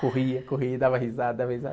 Corria, corria, e dava risada, dava risada.